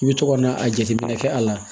I bɛ to ka na a jateminɛ kɛ a la